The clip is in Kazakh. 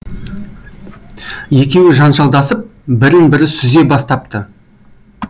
екеуі жанжалдасып бірін бірі сүзе бастапты